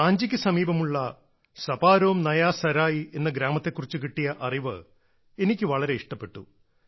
റാഞ്ചിക്ക് സമീപമുള്ള സപാരോം നയാ സരായ് എന്ന ഗ്രാമത്തെക്കുറിച്ചു കിട്ടിയ അറിവ് എനിക്ക് വളരെ ഇഷ്ടപ്പെട്ടു